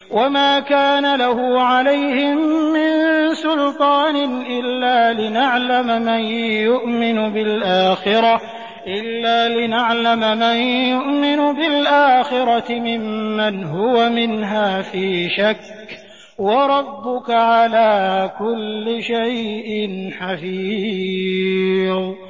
وَمَا كَانَ لَهُ عَلَيْهِم مِّن سُلْطَانٍ إِلَّا لِنَعْلَمَ مَن يُؤْمِنُ بِالْآخِرَةِ مِمَّنْ هُوَ مِنْهَا فِي شَكٍّ ۗ وَرَبُّكَ عَلَىٰ كُلِّ شَيْءٍ حَفِيظٌ